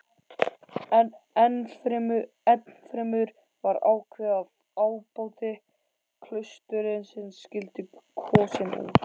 Ennfremur var ákveðið að ábóti klaustursins skyldi kosinn úr